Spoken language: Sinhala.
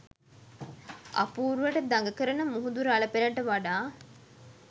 අපූරුවට දඟ කරන මුහුදු රළ පෙළට වඩා